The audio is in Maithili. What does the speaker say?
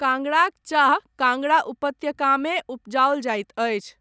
कांगड़ाक चाह कांगड़ा उपत्यकामे उपजाओल जाइत अछि।